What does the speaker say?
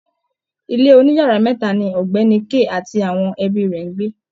Ilé oniyara meta ni ògbéni Kay ati àwọn ẹbí rè ń gbé.